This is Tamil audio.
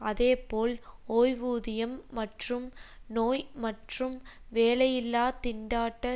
அதேபோல் ஓய்வூதியம் மற்றும் நோய் மற்றும் வேலையில்லா திண்டாட்ட